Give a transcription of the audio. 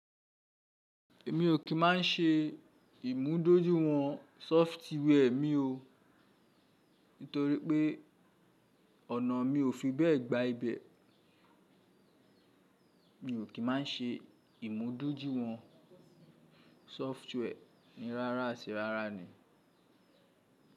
Èmi ò kí má n ṣe ìmúdójúìwọ̀n sọfitíwẹ́ẹ̀ mi o, nítorí pé ọ̀nà mi ò fi bẹ́ẹ̀ gba ibẹ̀. Mi ò kí má n ṣe ìmúdójúìwọ̀n sọfitíwẹ́ẹ̀ mí rárá àti rárá ni.